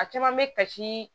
A caman bɛ kasi